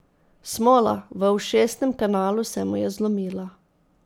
Smola, v ušesnem kanalu se mu je zlomila.